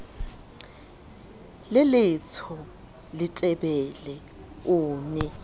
le letsho letebele o ne